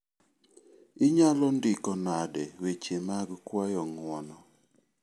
Inyalo ndiko nade weche mag kwayo ng'wono?